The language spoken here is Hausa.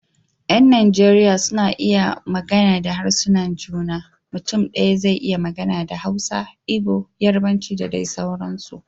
Yan Najeriya suna iya magana da harsunan juna, mutum daya zai iya magana da Hausa, Igbo, Yarbanci da dai sauransu